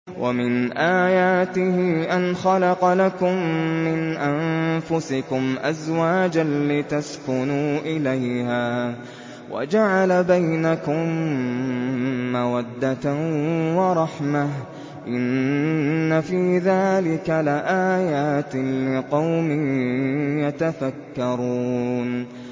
وَمِنْ آيَاتِهِ أَنْ خَلَقَ لَكُم مِّنْ أَنفُسِكُمْ أَزْوَاجًا لِّتَسْكُنُوا إِلَيْهَا وَجَعَلَ بَيْنَكُم مَّوَدَّةً وَرَحْمَةً ۚ إِنَّ فِي ذَٰلِكَ لَآيَاتٍ لِّقَوْمٍ يَتَفَكَّرُونَ